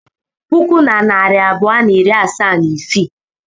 puku na narị abụọ na iri asaa na isii